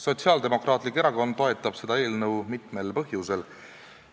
Sotsiaaldemokraatlik Erakond toetab seda eelnõu mitmel põhjusel.